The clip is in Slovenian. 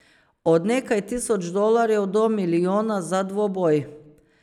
Od nekaj tisoč dolarjev do milijona za dvoboj.